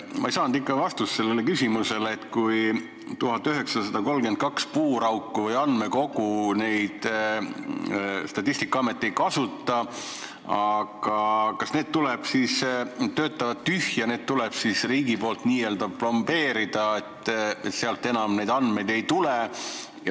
Ma ei saanud ikka vastust küsimusele, et kui Statistikaamet 1932 puurauku või andmekogu ei kasuta ja need töötavad tühja, kas need tuleb siis riigil n-ö plombeerida, sealt enam neid andmeid ei tule.